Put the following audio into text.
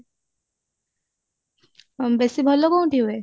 ବେଶି ଭଲ କୋଉଠି ହୁଏ